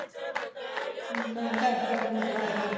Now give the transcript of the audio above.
ਹੁਣ ਤਾਂ ਘਰ ਘਰ ਮੋਟਰ ਆ ਗਈ